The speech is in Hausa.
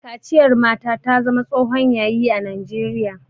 Kaciyar mata ta zama tsohon Yayi a najeriya